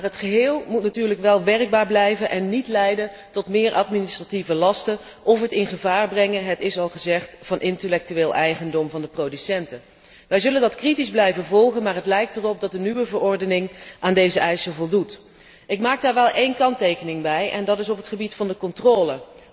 Het geheel moet natuurlijk wel werkbaar blijven en niet leiden tot meer administratieve lasten of het in gevaar brengen het is al gezegd van intellectueel eigendom van de producenten. Wij zullen dat kritisch blijven volgen, maar het lijkt erop dat de nieuwe verordening aan deze eisen voldoet. Ik maak daar wel een kanttekening bij en dat is op het gebied van de controle.